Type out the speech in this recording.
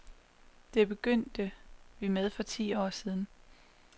Det begyndte vi med for ti år siden.